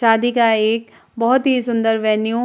शादी का एक बोहोत ही सुंदर वेन्यू --